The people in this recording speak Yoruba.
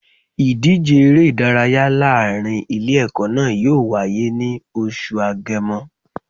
Ìdíje eré ìdárayá láàrin Ilé ẹ̀kọ́ náà yóò wáyé ní oṣù Agemo